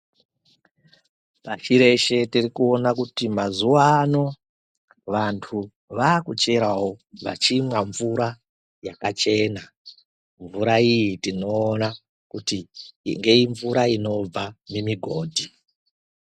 PaChireshe tirikuona kuti mazuva ano vantu vaakucherawo, vachimwa mvura yakachena. Mvura iyi tinoona kuti imvura inobva mumigodhi.